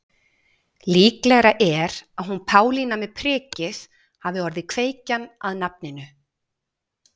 Líklegra er að hún Pálína með prikið hafi orðið kveikjan að nafninu.